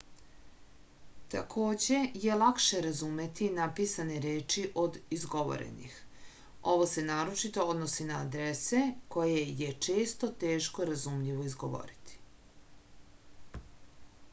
takođe je lakše razumeti napisane reči od izgovorenih ovo se naročito odnosi na adrese koje je često teško razumljivo izgovoriti